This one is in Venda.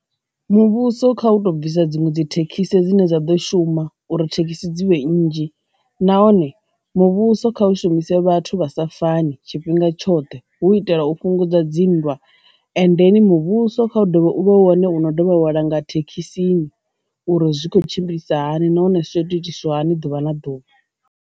Muvhuso kha u to bvisa dziṅwe dzi thekhisi dzine dza ḓo shuma uri thekhisi dzivhe nnzhi, nahone muvhuso kha u shumise vhathu vha sa fani tshifhinga tshoṱhe hu itela u fhungudza dzinndwa, endeni muvhuso kha u ḓovha u vha wane uno dovha wala nga thekhisini uri zwi khou tshimbilisa hani nahone zwiitiswa hani ḓuvha na ḓuvha.